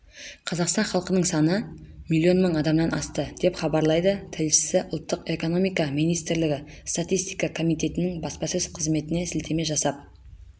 қазақстан халқының саны миллион мың адамнан асты деп хабарлайды тілшісі ұлттық экономика министрлігі статистика комитетінің баспасөз қызметіне сілтеме жасап